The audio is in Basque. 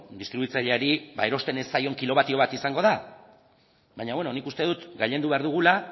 distribuitzaileari erosten ez zaion kilobatio bat izango da nik uste dut gailendu behar dugula